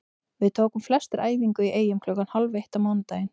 Við tókum flestir æfingu í Eyjum klukkan hálf eitt á mánudaginn.